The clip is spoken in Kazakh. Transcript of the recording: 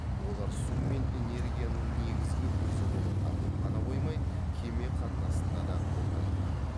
олар су мен энергияның негізгі көзі болып табылып қана қоймай кеме қатынасында да қолданылады